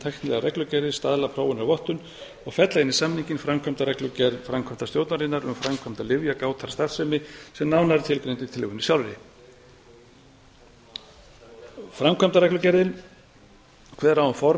tæknilegar reglugerðir staðlar prófanir og vottun og fella inn í samninginn framkvæmdarreglugerð framkvæmdastjórnarinnar um framkvæmd lyfjagátarstarfsemi sem nánar er tilgreind í tillögunni sjálfri framkvæmdarreglugerðin á um form